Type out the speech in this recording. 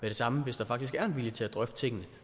det samme hvis der faktisk er en vilje til at drøfte tingene